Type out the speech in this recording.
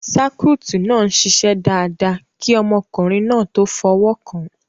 sáíkúùtì náà n ṣiṣẹ́ dáadáa kí ọmọkùnrin náà tó f'ọwọ́kàn